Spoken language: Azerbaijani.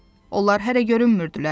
Onlar hələ görünmürdülər.